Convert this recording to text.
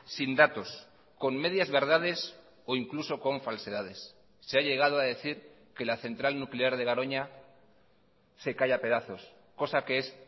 sin datos con medias verdades o incluso con falsedades se ha llegado a decir que la central nuclear de garoña se cae a pedazos cosa que es